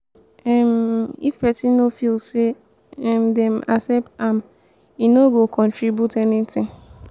um if pesin no feel say um dem accept am e no go contribute anything.